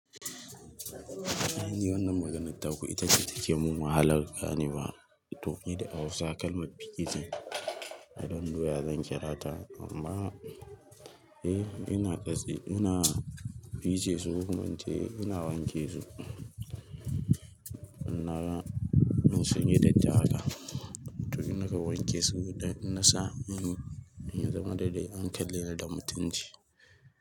A'a ni wannan maganar taku ita ce take mun wahala ganewa tofi da Hausa kalmar fice. I don't know ya zan kirata amma eh ina ƙatse ina fice su, kuma in ce ina wanke su. Ina in sunyi datti haka to in na wanke su, in na sa, in ya zam dai an kalle ni da mutunci.